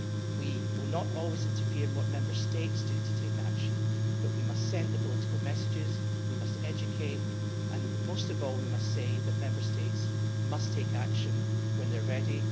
We will not always interfere in what Member States do in terms of taking action, but we must send the political messages, we must educate and, most of all, we must require Member States to take action when they are ready.